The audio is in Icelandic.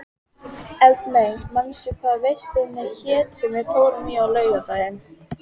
Eldmey, manstu hvað verslunin hét sem við fórum í á laugardaginn?